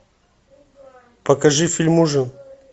покажи фильм ужин